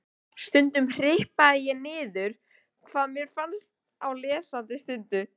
Stundum hripaði ég niður hvað mér fannst á lesandi stundu.